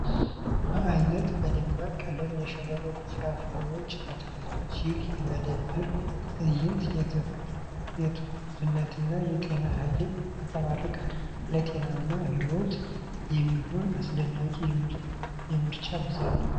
በአይነትና በደማቅ ቀለም ያሸበረቁት ፍራፍሬዎችና አትክልቶች! ይህ የመደብር ትዕይንት የትኩስነትንና የጤናን ኃይል ያንፀባርቃል። ለጤናማ ሕይወት የሚሆን አስደናቂ የምርጫ ብዛት !